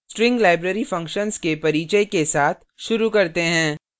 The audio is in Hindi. string library functions के परिचय के साथ शुरू करते हैं